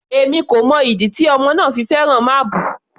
Èmi kò mọ ìdí tí ọmọ náà fi fẹ́ràn máábù.